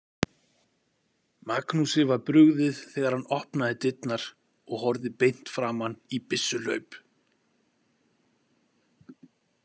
Magnúsi var brugðið þegar hann opnaði dyrnar og horfði beint framan í byssuhlaup.